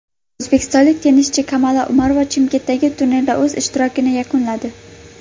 O‘zbekistonlik tennischi Kamola Umarova Chimkentdagi turnirda o‘z ishtirokini yakunladi.